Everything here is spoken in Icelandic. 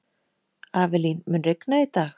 Avelín, mun rigna í dag?